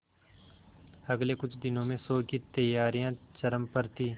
अगले कुछ दिनों में शो की तैयारियां चरम पर थी